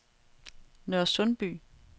Nørresundby